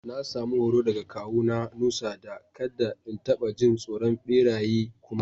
Na samu horo daga kawu na Nusa, da kadda in tabba jin tsoron beraye kuma.